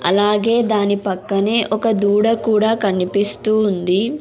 అలాగే దాని పక్కనే ఒక దూడ కూడా కనిపిస్తూ ఉంది.